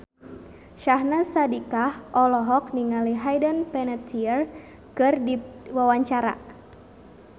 Syahnaz Sadiqah olohok ningali Hayden Panettiere keur diwawancara